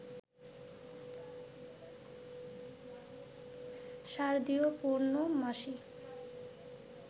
শারদীয় পৌর্ণমাসী